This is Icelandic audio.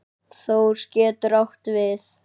Þór getur átt við